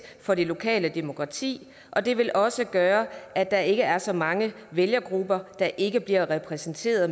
for det lokale demokrati og det vil også gøre at der ikke er så mange vælgergrupper der ikke bliver repræsenteret